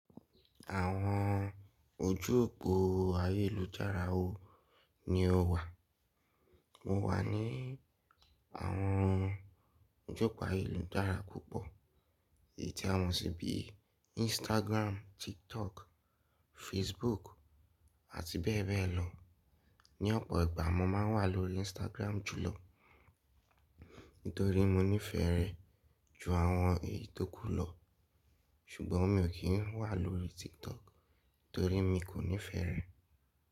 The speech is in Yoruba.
Àwọn ojú òpó ayélujára wo ni o wà? Mo wà ní àwọn ojú òpó ayélujára púpọ̀. Èyí tí a mọ̀ sí bí i Instagram, TikTok, Facebook àti bẹ́ẹ̀ bẹ́ẹ̀ lọ. Ni ọ̀pọ̀ ìgbà mo máa ń wà lórí Instagram jùlọ, nítorí mo nífẹ̀ẹ́ rẹ̀ ju àwọn èyí tókù lọ. Ṣùgbọ́n mi ò kí ń wà lórí TikTok torí mi kò nífẹ̀ẹ́ rẹ̀.